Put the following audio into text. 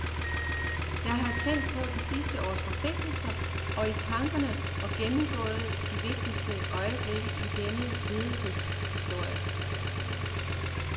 Jeg har tænkt på de sidste års forpligtelser, og i tankerne gennemgået de vigtigste øjeblikke i denne lidelseshistorie.